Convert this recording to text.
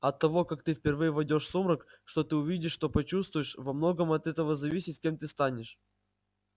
от того как ты впервые войдёшь в сумрак что ты увидишь что почувствуешь во многом от этого зависит кем ты станешь